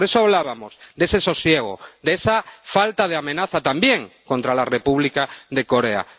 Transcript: Por eso hablábamos de ese sosiego, de esa falta de amenaza también contra la República de Corea.